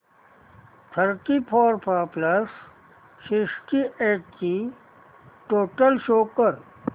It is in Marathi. thirty four plus sixty eight ची टोटल शो कर